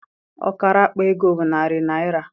Ọkara akpa ego bụ narị naịra.